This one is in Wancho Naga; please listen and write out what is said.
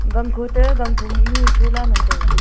gankho toh ganphom mohnu chola ngan taiga.